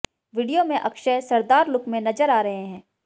video में अक्षय सरदार look में नजर आ रहे हैं